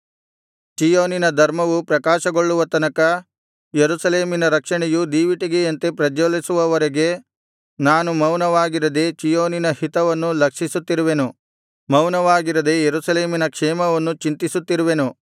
ಚೀಯೋನಿನ ಧರ್ಮವು ಪ್ರಕಾಶಗೊಳ್ಳುವ ತನಕ ಯೆರೂಸಲೇಮಿನ ರಕ್ಷಣೆಯು ದೀವಿಟಿಗೆಯಂತೆ ಪ್ರಜ್ವಲಿಸುವವರೆಗೆ ನಾನು ಮೌನವಾಗಿರದೆ ಚೀಯೋನಿನ ಹಿತವನ್ನು ಲಕ್ಷಿಸುತ್ತಿರುವೆನು ಮೌನವಾಗಿರದೆ ಯೆರೂಸಲೇಮಿನ ಕ್ಷೇಮವನ್ನು ಚಿಂತಿಸುತ್ತಿರುವೆನು